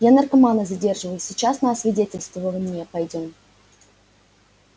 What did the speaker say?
я наркомана задерживаю сейчас на освидетельствование пойдём